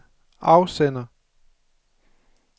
afsender